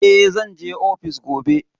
Eh, zan je ofis gobe.